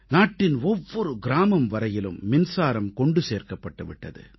நாட்டின் ஒவ்வொரு கிராமம் வரையிலும் மின்சாரம் கொண்டு சேர்க்கப்பட்டு விட்டது